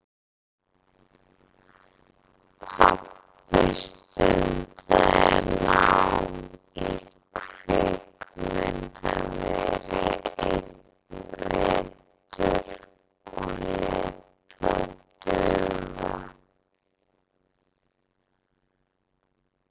Pabbi stundaði nám í kvikmyndaveri einn vetur og lét það duga.